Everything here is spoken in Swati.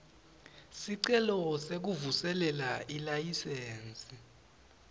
sicelo sekuvuselela ilayisensi